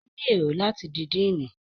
O ni èrò láti di Diini